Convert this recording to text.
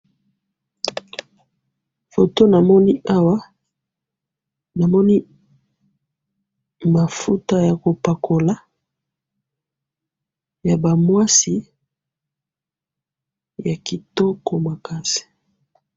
photo namoni awa namoni mafouta ya kopakoula yaba mwasi yakitoko makasi